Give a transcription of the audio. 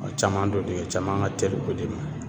A caman dɔ de caman ka teli o de ma